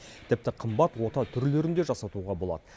тіпті қымбат ота түрлерін де жасатуға болады